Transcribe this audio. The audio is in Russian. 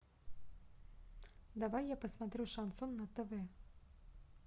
давай я посмотрю шансон на тв